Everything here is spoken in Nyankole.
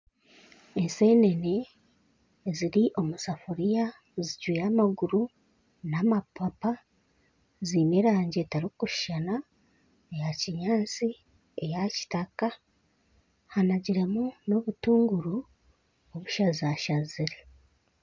Ensenene ziri omu safuriya zicwire amaguru n'amapapa ziine erangi etarikushushana eya kinyaantsi, eya kitaka hanagiremu n'obutunguru obushazashazire.